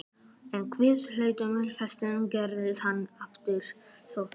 En við hláturroku Stefáns snaraðist hann á fætur, sótvondur.